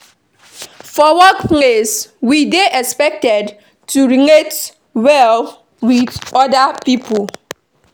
For workplace we dey expected to relate well with oda pipo